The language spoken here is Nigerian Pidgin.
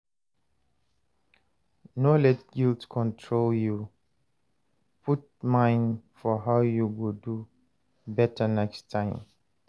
No let guilt control yu; put mind for how yu go do beta next time.